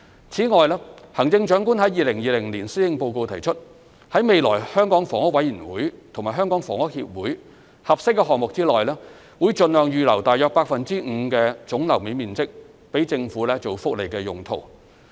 此外，行政長官在2020年施政報告提出，在未來香港房屋委員會及香港房屋協會合適的項目內，盡量預留約 5% 總樓面面積予政府作福利用途。